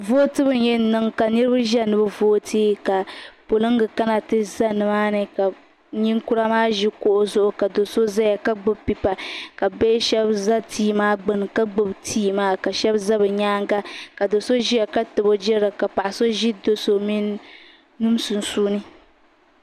votɛbu yaŋ niŋ ka niriba ʒɛya nibi vutɛ ka poliga ka na tɛ ʒɛ ni maa ni nikura maa ʒɛ kuɣ'zuɣ' ka so ʒɛya ka gbɛbi pɛipa ka bihi shɛba za timaa gbani ka gba bi ti maa ka ʒɛ di nyɛŋa ka do so ʒɛ ka tabi o jirili ka paɣ'so ʒɛ d nim sunsuni